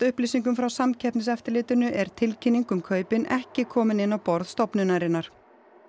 upplýsingum frá Samkeppniseftirlitinu er tilkynning um kaupin ekki komin inn á borð stofnunarinnar